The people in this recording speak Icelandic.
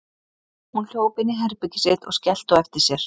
Hún hljóp inn í herbergið sitt og skellti á eftir sér.